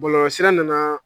Bɔlɔlɔsira nana